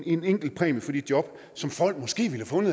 en enkelt præmie for de job som folk måske